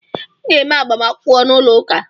Ị ga eme -agbamakwụkwọ n’ụlọ ụka!